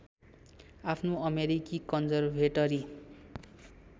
आफ्नो अमेरिकी कन्जरभेटरि